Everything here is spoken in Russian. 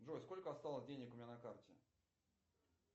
джой сколько осталось денег у меня на карте